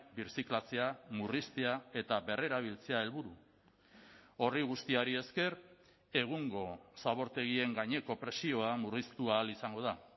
birziklatzea murriztea eta berrerabiltzea helburu horri guztiari esker egungo zabortegien gaineko presioa murriztu ahal izango da